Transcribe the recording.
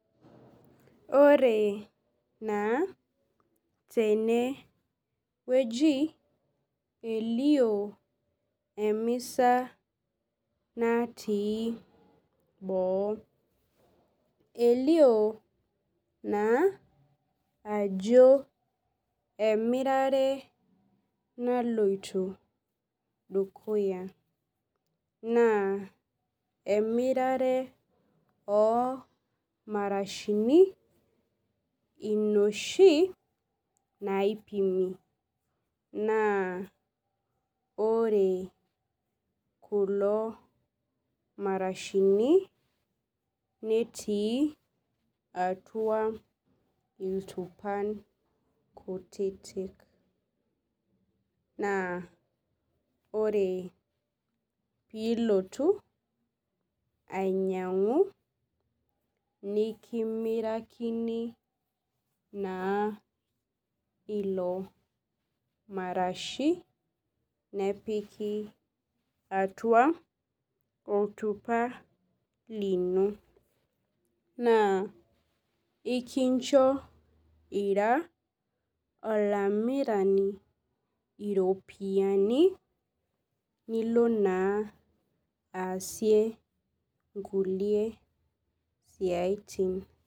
Ore naa tene keji elioo emisa natii boo elioo naa ajo emirare naloito dukuya naa amirare oo marashini inoshi naipini naa ore kulo marashini netii atua ntupai kutitik naa ore enilotu ainyiangu nimkimieakini bnaa ilo marashi nepiki atua oltupa lino naa ikincho ira olamirani iropiyiani nilo naa aasie nkulie siaitin.